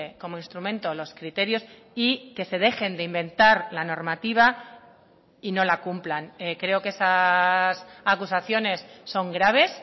como instrumento los criterios y que se dejen de inventar la normativa y no la cumplan creo que esas acusaciones son graves